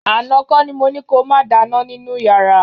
Àná kọ́ ni mo ní ko máa dáná nínú yàrá